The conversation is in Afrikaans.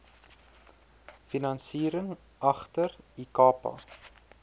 finansiering agter ikapa